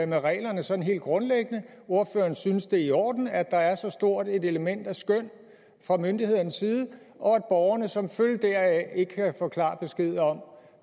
med reglerne sådan helt grundlæggende ordføreren synes at det er i orden at der er så stort et element af skøn fra myndighedernes side og at borgerne som følge deraf ikke kan få klar besked om